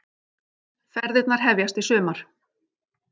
Ferðirnar hefjast í sumar